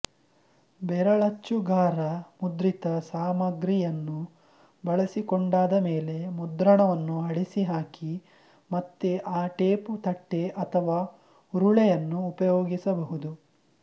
ಬೆರಳಚ್ಚುಗಾರ ಮುದ್ರಿತ ಸಾಮಗ್ರಿಯನ್ನು ಬಳಸಿಕೊಂಡಾದ ಮೇಲೆ ಮುದ್ರಣವನ್ನು ಅಳಿಸಿಹಾಕಿ ಮತ್ತೆ ಆ ಟೇಪು ತಟ್ಟೆ ಅಥವಾ ಉರುಳೆಯನ್ನು ಉಪಯೋಗಿಸಬಹುದು